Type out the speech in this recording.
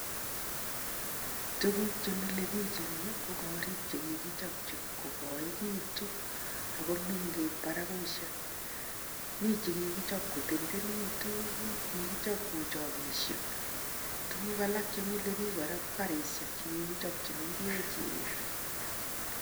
Tuguk che milepich eng yu ko korik che kigichop kogoegitun ago mengech baragusiek. Mi che kigichop kotendenegituun, kigichop kuo chogesiek. Tuguk alak che mile pik kora ko garisiek che kigichop che mengech